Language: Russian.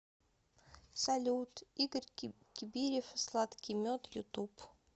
салют игорь кибирев сладкий мед ютуб